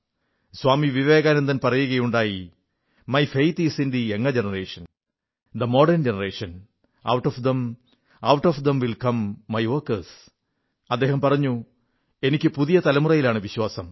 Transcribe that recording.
സ്വാമി വിവേകാനന്ദൻ പറയുകയുണ്ടായി my faith is in the younger generation the modern generation out of them will come my workers അദ്ദേഹം പറഞ്ഞു എനിക്കു യുവ തലമുറയിലാണ് വിശ്വാസം